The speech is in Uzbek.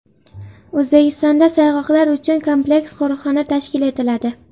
O‘zbekistonda sayg‘oqlar uchun kompleks qo‘riqxona tashkil etiladi.